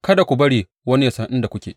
Kada ku bari wani ya san inda kuke.